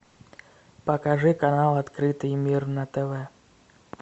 покажи канал открытый мир на тв